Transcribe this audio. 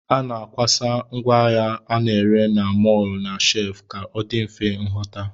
A na-akwasa ngwaahịa a na-ere na mọl na shef ka ọ dị mfe nhụta